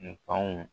N'o